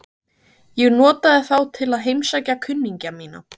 Ég notaði þá til að heimsækja kunningja mína.